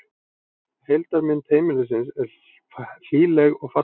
Heildarmynd heimilisins er hlýleg og falleg